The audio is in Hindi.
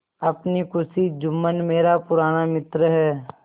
अपनी खुशी जुम्मन मेरा पुराना मित्र है